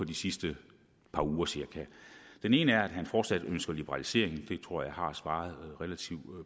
de sidste par uger det ene er at han fortsat ønsker liberalisering jeg tror jeg har svaret relativt